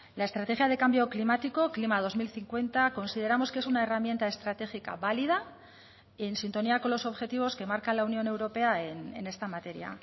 la estrategia de cambio climático clima dos mil cincuenta consideramos que es una herramienta estratégica válida y en sintonía con los objetivos que marca la unión europea en esta materia